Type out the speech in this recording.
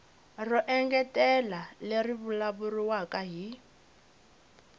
ro engetela leri vulavuriwaka hi